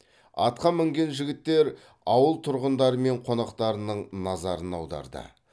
атқа мінген жігіттер ауыл тұрғындары мен қонақтарының назарын аударды